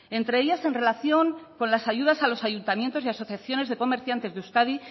entre ellas en relación con las ayudas a los ayuntamientos y asociaciones de comerciantes de euskadi